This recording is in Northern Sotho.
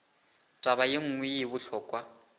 taba ye nngwe ye bohlokwa